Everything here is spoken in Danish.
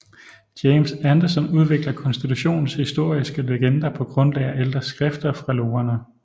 James Anderson udvikler konstitutionens historiske legender på grundlag af ældre skrifter fra logerne